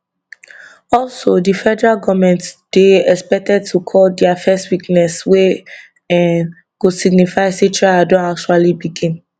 also di federal goment dey expected to call dia first witness wey um go signify say trial don actually begin